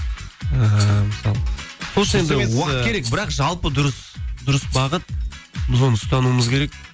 ііі мысалы сол үшін уақыт керек бірақ жалпы дұрыс дұрыс бағыт біз оны ұстануымыз керек